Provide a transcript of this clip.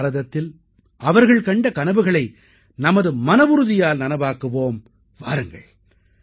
அந்த பாரதத்தில் அவர்கள் கண்ட கனவுகளை நமது மனவுறுதியால் நனவாக்குவோம் வாருங்கள்